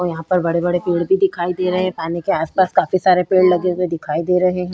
और यहाँ पर बड़े-बड़े पेड़ भी दिखाई दे रहे है। पानी के आस-पास काफी सारे पेड़ लगे हुए दिखाई दे रहे हैं।